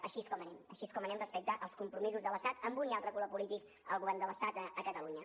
així és com anem així és com anem respecte als compromisos de l’estat amb un i altre color polític al govern de l’estat a catalunya